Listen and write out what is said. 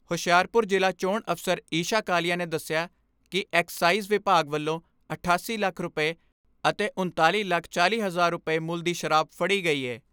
ਹੁਸ਼ਿਆਰਪੁਰ ਜ਼ਿਲ੍ਹਾ ਚੋਣ ਅਫਸਰ ਈਸ਼ਾ ਕਾਲੀਆ ਨੇ ਦਸਿਆ ਕਿ ਐਕਸਾਈਜ਼ ਵਿਭਾਗ ਵੱਲੋਂ ਅਠਾਸੀ ਲੱਖ ਰੁਪਏ ਅਤੇ ਉਣਤਾਲੀ ਲੱਖ ਚਾਲ੍ਹੀ ਹਜ਼ਾਰ ਰੁਪਏ ਮੁੱਲ ਦੀ ਸ਼ਰਾਬ ਫੜੀ ਗਈ ਏ।